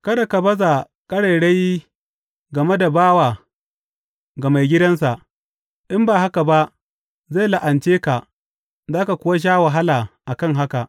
Kada ka baza ƙarairayi game da bawa ga maigidansa, in ba haka ba, zai la’ance ka, za ka kuwa sha wahala a kan haka.